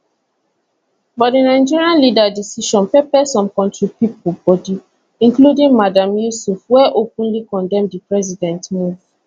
but di nigerian leader decision pepper some kontri pipo body including madam yesuf wey openly condemn di president move